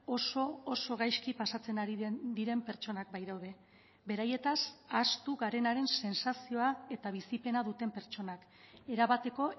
oso oso gaizki pasatzen ari diren pertsonak baitaude beraietaz ahaztu garenaren sentsazioa eta bizipena duten pertsonak erabateko